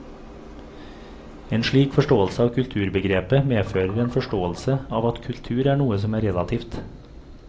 En slik forståelse av kulturbegrepet medfører en forståelse av at kultur er noe som er relativt.